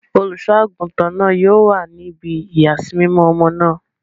Oluṣọ-agutan náà yóò wa ní ibí iyasimimọ ọmọ náà